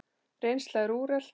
Reynsla er úrelt.